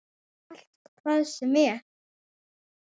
Allt, hvað sem er.